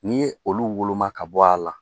N'i ye olu woloma ka bɔ a la